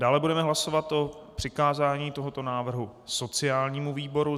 Dále budeme hlasovat o přikázání tohoto návrhu sociálnímu výboru.